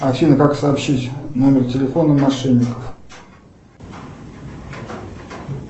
афина как сообщить номер телефона мошенников